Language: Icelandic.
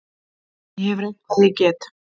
Ég hef reynt hvað ég get.